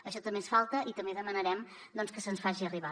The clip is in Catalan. això també ens falta i també demanarem que se’ns faci arribar